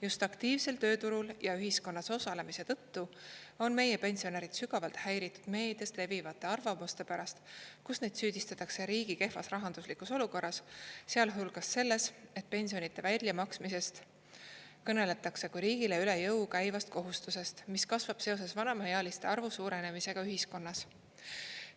Just aktiivselt tööturul ja ühiskonnas osalemise tõttu on meie pensionärid sügavalt häiritud meedias levivate arvamuste pärast, kus neid süüdistatakse riigi kehvas rahanduslikus olukorras, sh selles, et pensionide väljamaksmisest kõneletakse kui riigile kohustusest, mis kasvab seoses vanemaealiste arvu suurenemisega ühiskonnas.